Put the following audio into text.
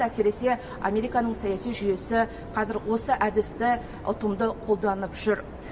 әсіресе американың саяси жүйесі қазір осы әдісті ұтымды қолданып жүр